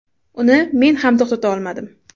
Uni men ham to‘xtata olmadim.